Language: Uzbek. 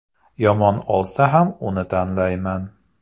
Yomon olsa ham uni tanlayman.